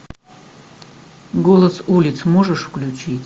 голос улиц можешь включить